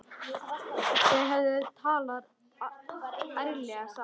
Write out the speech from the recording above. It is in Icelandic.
Þau hefðu talað ærlega saman.